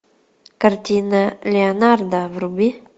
картина леонардо вруби